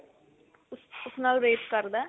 ਉਸ ਨਾਲ rape ਕਰਦਾ